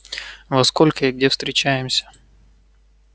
во сколько и где встречаемся